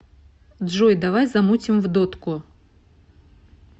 джой давай замутим в дотку